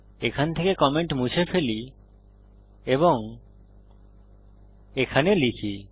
এখান থেকে কমেন্ট মুছে ফেলি এবং এখানে লিখি